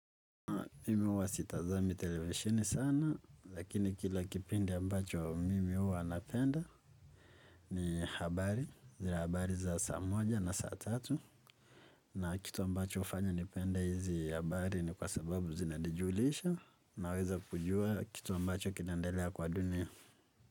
Mimi huwa sitazami televisheni sana, lakini kila kipindi ambacho mimi huwa napenda ni habari, zile habari za saa moja na saa tatu na kitu ambacho hufanya nipende hizi habari ni kwasababu zinanijulisha naweza kujua kitu ambacho kinaendelea kwa dunia.